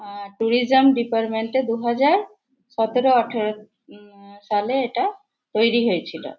আ tourism department - এ দুহাজার সতেরো আঠারো উম সালে এটা তৈরি হয়েছিল।